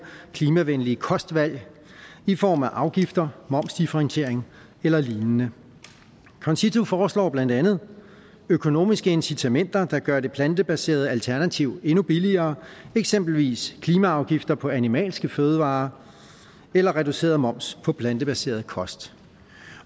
klimavenlige kostvalg i form af afgifter momsdifferentiering eller lignende concito foreslår blandt andet økonomiske incitamenter der gør det plantebaserede alternativ endnu billigere eksempelvis klimaafgifter på animalske fødevarer eller reduceret moms på plantebaseret kost